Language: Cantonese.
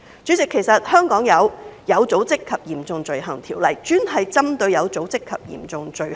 代理主席，香港有《有組織及嚴重罪行條例》，專門針對有組織及嚴重罪行。